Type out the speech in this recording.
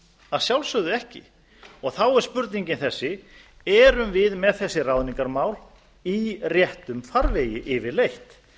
að sjálfsögðu ekki þá er spurningin þessi erum við með þessi ráðningarmál í réttum farvegi yfirleitt